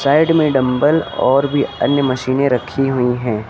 Side में dumbbell और भी अन्य मशीनें रखी हुई हैं।